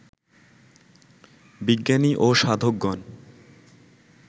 বিজ্ঞানী ও সাধকগণ